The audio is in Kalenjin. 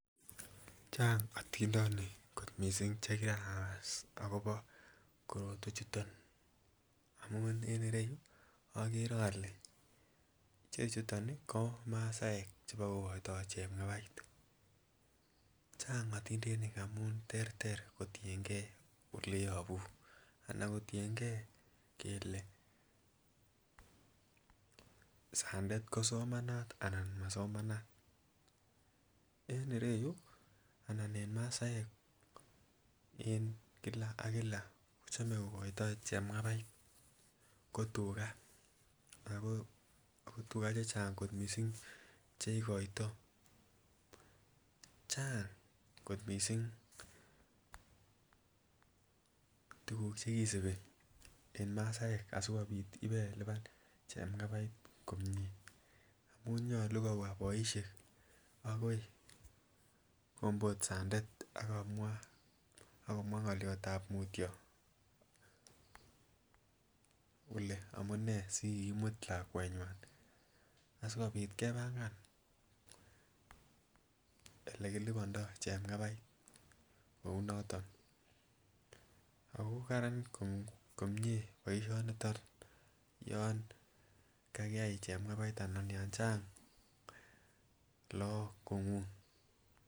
Chang otindonik kot missing chekirakas akobo korotwechuton amun en ireyu okere ole ichechuton ih ko masaek chebokokoitoo chepng'abait, chang otindenik amun terter kotiengei oleyobu anan kotiengei kele sandet kosomanata anan masomanat. En ireyu anan en masaek en kila ak kila kochome kokoito chepng'abait ko tuga ako tuga chechang kot missing chekikoitoo, chang kot missing tuguk chekisibi en masaek asikobit ibeliban chepng'abait komie amun nyolu kobwa boisiek akoi kombot sandet akomwaa ng'olyotab mutyo kole amunee asikikimut lakwetnywan asikobit kobangan elekilibondoo chepng'abait kounoton ako karan komie boisioniton yon kakiyai chepng'abait anan yon chang lagok kong'ung.